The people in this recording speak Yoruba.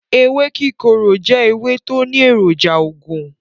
Ewé kíkorò jẹ́ ewé tó ní èròjà oògùn.